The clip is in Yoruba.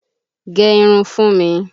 Gẹ irun fún mi!